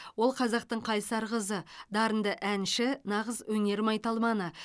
ол қазақтың қайсар қызы дарынды әнші нағыз өнер майталманы